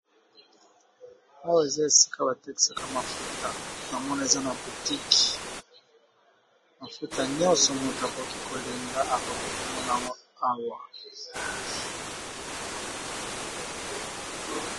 Awa eza esika ba tekisaka mafuta namona eza na boutique, mafuta nyonso moto akoki kolinga akoki komona yango awa.